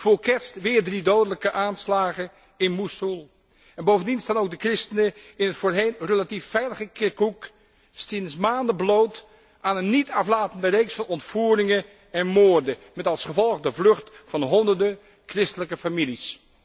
Vóór kerst weer drie dodelijke aanslagen in Mosoel. Bovendien staan ook de christenen in het voorheen relatief veilige Kirkoek sinds maanden bloot aan een niet aflatende reeks van ontvoeringen en moorden, met als gevolg de vlucht van honderden christelijke families.